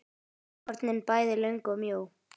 hornin bæði löng og mjó.